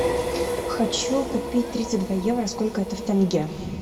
хочу купить тридцать два евро сколько это в тенге